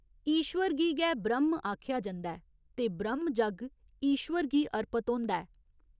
ईश्वर गी गै ब्रह्‌म आखेआ जंदा ऐ ते ब्रह्‌म जग्ग ईश्वर गी अर्पत होंदा ऐ।